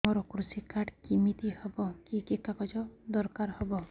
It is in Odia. ମୋର କୃଷି କାର୍ଡ କିମିତି ହବ କି କି କାଗଜ ଦରକାର ହବ